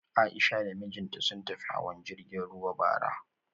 A'isha da mijinta sun tafi hawan jirgin ruwa bara